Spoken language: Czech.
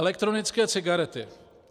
Elektronické cigarety.